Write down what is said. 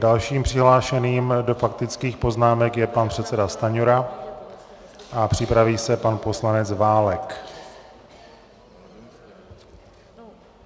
Dalším přihlášeným do faktických poznámek je pan předseda Stanjura a připraví se pan poslanec Válek.